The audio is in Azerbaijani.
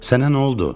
Sənə nə oldu?